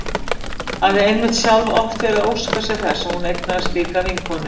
Hafði einmitt sjálf oft verið að óska sér þess að hún eignaðist slíka vinkonu.